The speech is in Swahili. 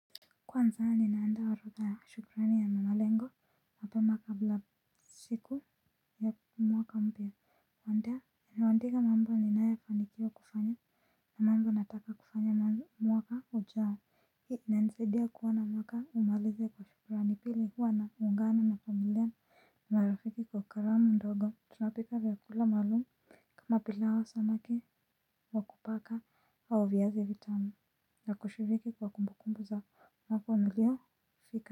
Kwanza ni naanda wa roka ya shukrani ya mamalengo na pemaka bila siku. Mwaka mpya wandea. Niwandika mambo ni naa yafandikio kufanya na mambo nataka kufanya mwaka ujaa. Hii inanisaidia kuona mwaka umaliza kwa shukrani pili huwa naungana na familia. Na marafiki kwa karamu ndogo tunapika vyakula maalumu. Kama pilau au samaki wa kupaka au viazi vitamu. Na kushiriki kwa kumbu kumbu za mwaka niliofika.